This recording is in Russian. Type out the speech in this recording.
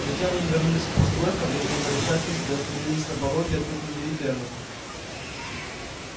затем они вернулись к постройкам и в замешательстве остановились на пороге открытой двери фермы